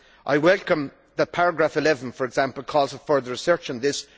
I welcome that paragraph 11, for example, calls for further research on this.